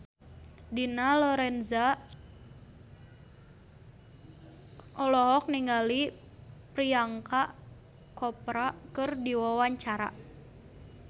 Dina Lorenza olohok ningali Priyanka Chopra keur diwawancara